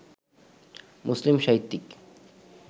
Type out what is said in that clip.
মুসলিম সাহিত্যিক